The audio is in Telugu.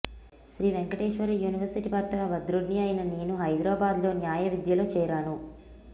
శ్రీ వేంకటేశ్వర యూనివర్సిటీ పట్ట భద్రుడ్ని అయిన నేను హైదరాబాద్లో న్యాయ విద్యలో చేరాను